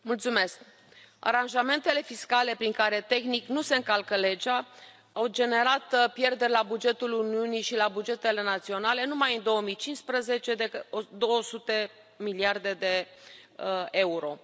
Doamnă președintă, aranjamentele fiscale prin care, tehnic, nu se încalcă legea, au generat pierderi la bugetul Uniunii și la bugetele naționale, numai în 2015, de 200 de miliarde de euro.